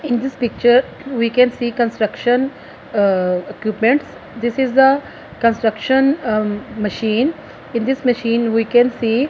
in this picture we can see construction ahh equipments this is the construction ah machine in this machine we can see--